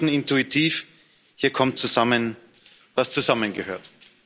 Wir spürten intuitiv Hier kommt zusammen, was zusammengehört.